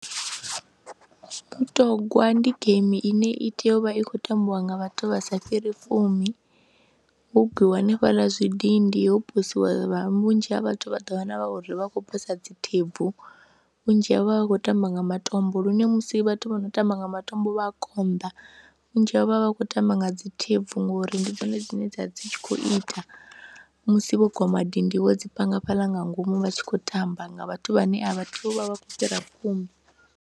Mutogwa ndi geimi ine i tea u vha i khou tambiwa nga vhathu vha sa fhiri fumi ho gwiwa hanefhaḽa zwidindi ho posiwa vha vhunzhi ha vhathu vha ḓo wana uri vha khou posa dzi thebvu vhunzhi havho vha vha khou tamba nga matombo lune musi vhathu vho no tamba nga matombo vha a konḓa vhunzhi havho vha vha khou tamba nga dzi thebvu ngori ndi dzone dzine dza vha dzi tshi khou ita musi vho gwa madindi wo dzi panga fhala nga ngomu vha tshi khou tamba nga vhathu vhane a vha tei u vha vha khou fhira vhafumi.